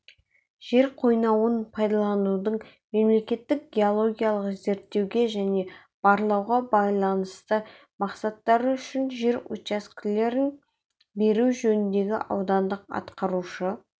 жер қойнауын пайдаланудың мемлекеттік геологиялық зерттеуге және барлауға байланысты мақсаттары үшін жер учаскелерін беру жөніндегі аудандық атқарушы